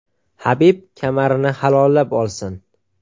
Habib kamarini halollab olsin.